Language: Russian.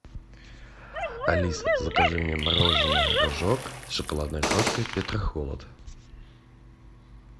алиса закажи мне мороженое рожок с шоколадной крошкой петрохолод